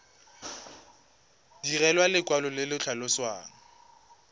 direlwa lekwalo le le tlhalosang